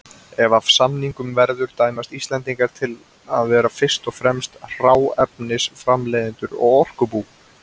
Ef af samningum verður dæmast Íslendingar til að verða fyrst og fremst hráefnisframleiðendur og orkubú.